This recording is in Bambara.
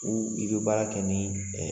U i be baara kɛ ni